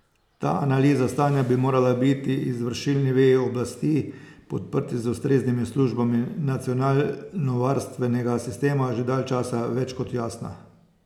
Ta analiza stanja bi morala biti izvršilni veji oblasti, podprti z ustreznimi službami nacionalnovarnostnega sistema, že dalj časa več kot jasna.